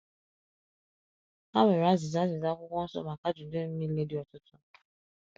Ha nwere azịza azịza Akwụkwọ Nsọ maka ajụjụ m niile dị ọtụtụ.